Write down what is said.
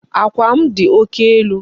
Àkwà m dị oke elu.